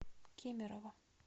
кемерово